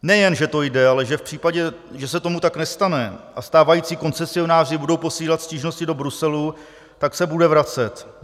Nejen že to jde, ale že v případě, že se tomu tak nestane a stávající koncesionáři budou posílat stížnosti do Bruselu, tak se bude vracet.